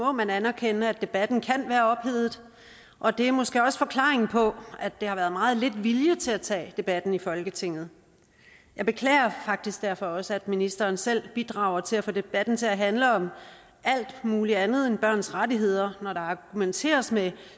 må man anerkende at debatten kan være ophedet og det er måske også forklaringen på at der har været meget lidt vilje til at tage debatten i folketinget jeg beklager faktisk derfor også at ministeren selv bidrager til at få debatten til at handle om alt muligt andet end børns rettigheder når der argumenteres med